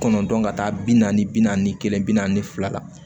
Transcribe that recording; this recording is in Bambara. Kɔnɔntɔn ka taa bi naani bi naani kelen bi naani fila la